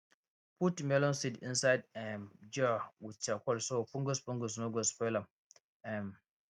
put melon seeds inside um jar with charcoal so fungus fungus no go spoil am um